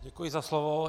Děkuji za slovo.